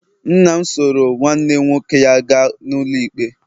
nna m soro nwanne nwoke ya gaa n'ụlọikpe